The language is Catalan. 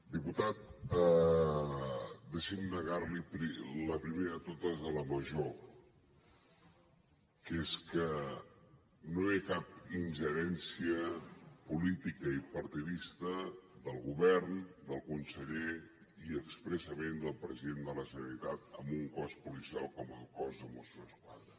diputat deixi’m negar li la primera de totes la major que és que no hi ha cap ingerència política i partidista del govern del conseller i expressament del president de la generalitat en un cos policial com el cos de mossos d’esquadra